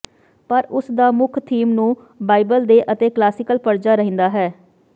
ਪਰ ਉਸ ਦਾ ਮੁੱਖ ਥੀਮ ਨੂੰ ਬਾਈਬਲ ਦੇ ਅਤੇ ਕਲਾਸੀਕਲ ਪਰਜਾ ਰਹਿੰਦਾ ਹੈ